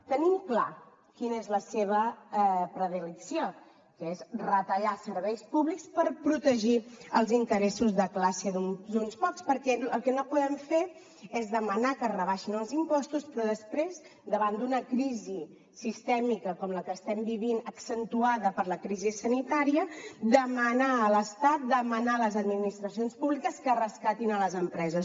tenim clar quina és la seva predilecció que és retallar serveis públics per protegir els interessos de classe d’uns pocs perquè el que no podem fer és demanar que es rebaixin els impostos però després davant d’una crisi sistèmica com la que estem vivint accentuada per la crisi sanitària demanar a l’estat demanar a les administracions públiques que rescatin les empreses